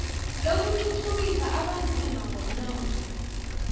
lokuthuthukisa abanzima ngomnotho